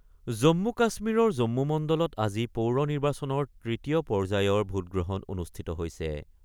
জম্মু-কাশ্মীৰৰ জম্মু মণ্ডলত আজি পৌৰ নিৰ্বাচনৰ তৃতীয় পৰ্যায়ৰ ভোটগ্ৰহণ অনুষ্ঠিত হৈছে।